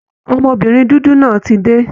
Ọmọbìnrin dúdú náà ti dé